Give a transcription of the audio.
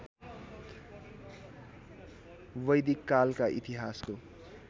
वैदिक कालका इतिहासको